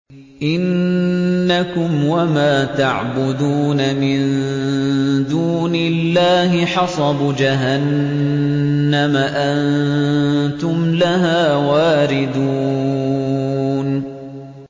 إِنَّكُمْ وَمَا تَعْبُدُونَ مِن دُونِ اللَّهِ حَصَبُ جَهَنَّمَ أَنتُمْ لَهَا وَارِدُونَ